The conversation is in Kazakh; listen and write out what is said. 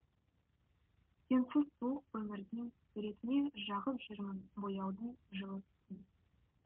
сенсіз суық өмірдің суретіне жағып жүрмін бояудың жылы түсін